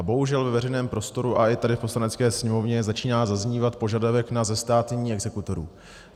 A bohužel ve veřejném prostoru a i tady v Poslanecké sněmovně začíná zaznívat požadavek na zestátnění exekutorů.